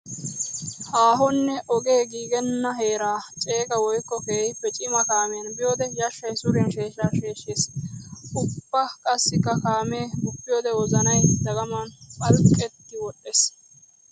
Haahonne ogee giigenna heera ceega woykko keehippe cima kaamiyan biyoode yashay suriyan sheeshsha sheshshees! Ubba qassikka kaame guppiyodde wozanay dagaman phalqqetti woxes!